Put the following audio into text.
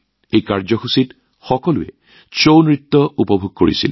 এই অনুষ্ঠানত সকলোৱে ছাউ নৃত্য উপভোগ কৰিলে